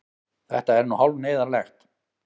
Þetta er nú hálf neyðarlegt.